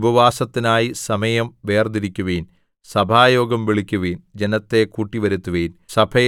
സീയോനിൽ കാഹളം ഊതുവിൻ ഒരു ഉപവാസത്തിനായി സമയം വേർതിരിക്കുവിൻ സഭായോഗം വിളിക്കുവിൻ